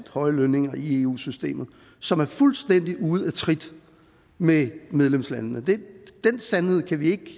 høje lønninger i eu systemet som er fuldstændig ude af trit med medlemslandene den sandhed kan vi ikke